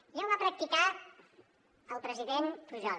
ja ho va practicar el president pujol